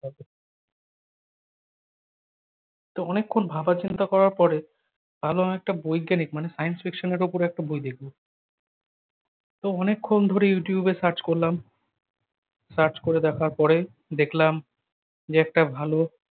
তো অনেকক্ষণ ভাবনা চিন্তা করার পরে ভাবলাম একটা বৈজ্ঞানিক মানে science friction এর ওপরে একটা বই দেখব। তো অনেকক্ষণ ধরে ইউটিউবে serach করলাম, search করে দেখার পরে দেখলাম যে একটা ভালো